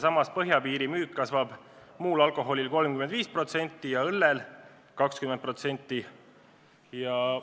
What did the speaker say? Samas peaks põhjapiiril muu alkoholi müük kasvama 35% ja õllemüük 20%.